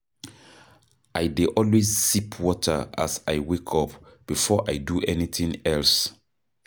I dey always sip water as I wake up before I do anything else.